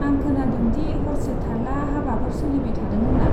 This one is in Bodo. आं खोनांदों दि हरसे थार्ला हाबाफोर सोलिबाय थादों होन्ना?